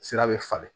Sira be falen